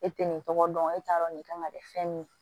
E tɛ nin tɔgɔ dɔn e t'a dɔn nin kama dɛ fɛn min